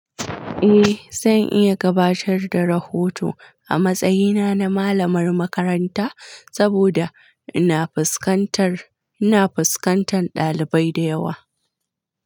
Eh, zan iya gabatar da rahoto a matsayina na malamar makaranta saboda ina fuskantar, ina fuskantar ɗalibai da yawa.